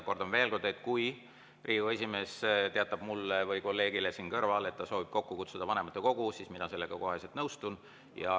Kordan veel kord: kui Riigikogu esimees teatab mulle või kolleegile siin kõrval, et ta soovib kokku kutsuda vanematekogu, siis mina sellega kohe nõustun.